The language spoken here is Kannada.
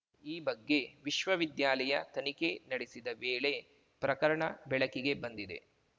ಈ ಬಗ್ಗೆ ವಿಶ್ವ ವಿದ್ಯಾಲಯ ತನಿಖೆ ನಡೆಸಿದ ವೇಳೆ ಪ್ರಕರಣ ಬೆಳಕಿಗೆ ಬಂದಿದೆ